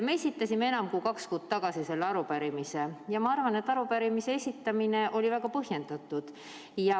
Me esitasime enam kui kaks kuud tagasi selle arupärimise ja ma arvan, et arupärimise esitamine oli väga põhjendatud.